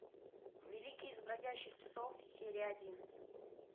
великий из бродячих псов серия один